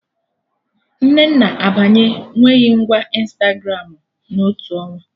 Nnenna abanye nweghị ngwa Ịnstagramụ na otu ọnwa